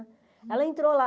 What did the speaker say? Ela entrou lá.